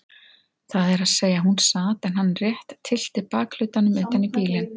Það er að segja hún sat en hann rétt tyllti bakhlutanum utan í bílinn.